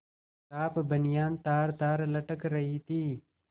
साफ बनियान तारतार लटक रही थी